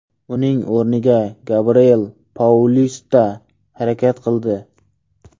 Uning o‘rnida Gabriel Paulista harakat qildi.